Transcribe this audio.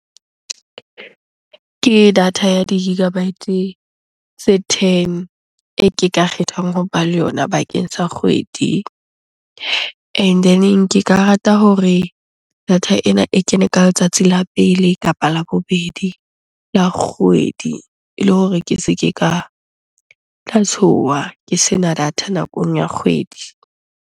Ke data ya di-gigabytes tse ten e ke ka kgethang hoba le yona bakeng sa kgwedi, and then-eng ke ka rata hore data ena e kene ka letsatsi la pele kapa la bobedi la kgwedi ele hore ke se ke ka tla tshoha ke sena data nakong ya kgwedi.